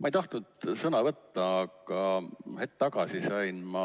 Ma ei tahtnud sõna võtta, aga hetk tagasi sain ma